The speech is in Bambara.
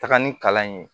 Taga ni kalan in ye